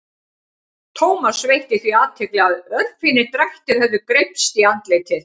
Thomas veitti því athygli að örfínir drættir höfðu greypst í andlitið.